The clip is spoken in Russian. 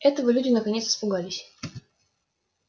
этого люди наконец испугались